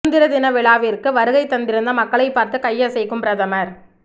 சுதந்திர தின விழாவிற்கு வருகை தந்திருந்த மக்களை பார்த்து கையசைக்கும் பிரதமர்